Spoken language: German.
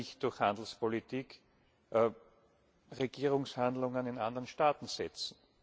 Wir können nicht durch Handelspolitik Regierungshandlungen in anderen Staaten setzen.